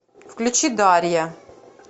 включи дарья